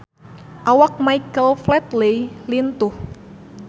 Awak Michael Flatley lintuh